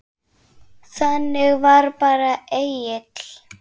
Þannig var bara Egill.